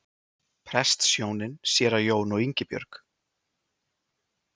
Prestshjónin séra Jón og Ingibjörg